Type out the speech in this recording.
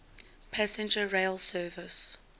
passenger rail service